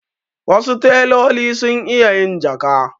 Wasu teloli sun iya yin jaka.